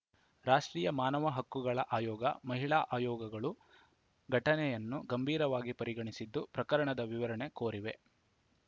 ರಾಷ್ಟ್ರೀಯ ಮಾನವ ಹಕ್ಕುಗಳ ಆಯೋಗ ಮಹಿಳಾ ಆಯೋಗಗಳು ಘಟನೆಯನ್ನು ಗಂಭೀರವಾಗಿ ಪರಿಗಣಿಸಿದ್ದು ಪ್ರಕರಣದ ವಿವರಣೆ ಕೋರಿವೆ